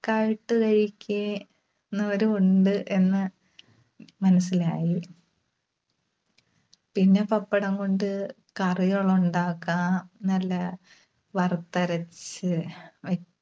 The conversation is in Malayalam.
ആയിട്ട് കഴിക്കുക~ന്നവരും ഉണ്ട് എന്ന് മനസ്സിലായി. പിന്നെ പപ്പടം കൊണ്ട് കറികള് ഉണ്ടാക്കാം. നല്ല വറുത്തരച്ച് വെ~